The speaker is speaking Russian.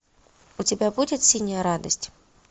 у тебя будет синяя радость